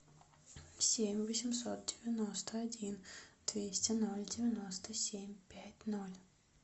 семь восемьсот девяносто один двести ноль девяносто семь пять ноль